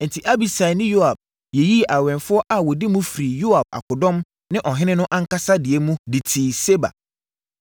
Enti, Abisai ne Yoab yiyii awɛmfoɔ a wɔdi mu firii Yoab akodɔm ne ɔhene no ankasa deɛ mu de tii Seba.